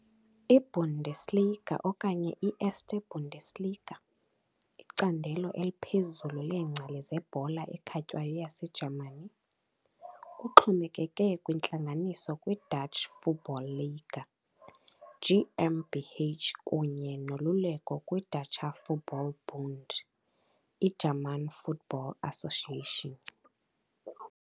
I -Bundesliga, okanye i-Erste Bundesliga, icandelo eliphezulu leengcali zebhola ekhatywayo yaseJamani. Kuxhomekeke kwintlangano kwi -Deutsche Fußball Liga GmbH kunye noluleko kwi -Deutscher Fußball-Bund, i-German football association.